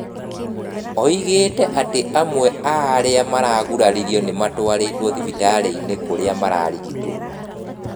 Oigĩte atĩ amwe aarĩa maraguraririo nĩmatwarĩtwo thibitarĩ-inĩ kũrĩa mararigitwo.